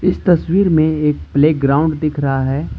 इस तस्वीर में एक प्लेग्राउंड दिख रहा है।